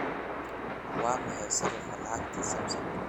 waa maxay sarifka lacagta samsung